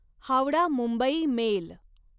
Howrah Mumbai mail